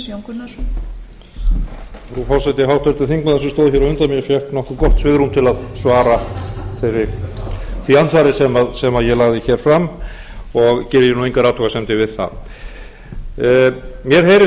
undan mér fékk nokkuð gott svigrúm til að svara því andsvari sem ég lagði hér fram og geri ég engar athugasemdir við það mér heyrist